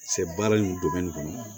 Sɛ baara nunnu kɔnɔ